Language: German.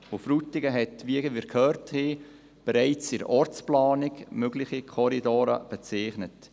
Frutigen hat, wie wir gehört haben, bereits in der Ortsplanung mögliche Korridore bezeichnet.